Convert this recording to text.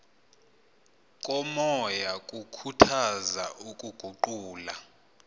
komoya kukhuthaza ukuguqula